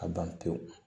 A ban pewu